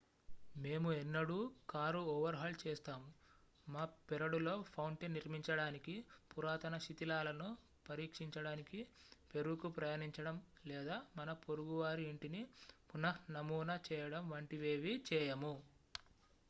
మేము ఎన్నడూ కారుఓవర్హాల్ చేస్తాము మా పెరడులో ఫౌంటెన్ నిర్మించడానికి పురాతన శిథిలాలను పరీక్షించడానికి పెరూకు ప్రయాణించడం లేదా మన పొరుగువారి ఇంటిని పునఃనమూనా చేయడం వంటివేవీ చేయము